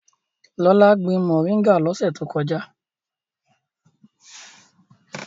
Lọlá gbin mòríngà lọ́sẹ̀ tó kọjá.